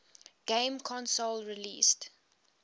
game console released